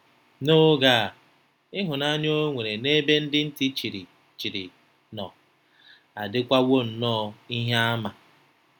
N'oge a, ịhụnanya o nwere n'ebe ndị ntị chiri chiri nọ adịkwawo nnọọ ihe àmà.